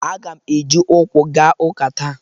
Aga m eji ụkwụ gaa ụka taa.